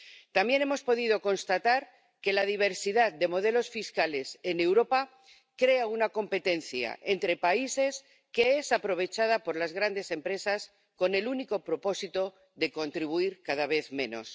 También hemos podido constatar que la diversidad de modelos fiscales en Europa crea una competencia entre países que es aprovechada por las grandes empresas con el único propósito de contribuir cada vez menos.